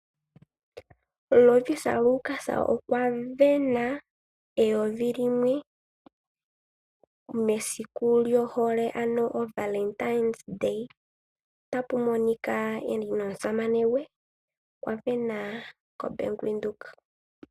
Lovisa Lukas okwa sindana oodola dhaNamibia eyovi limwe mesiku lyohole. Ota monika e li nomusamane gwe, okwa sindana koBank Windhoek.